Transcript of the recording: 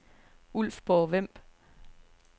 Ulfborg-Vemb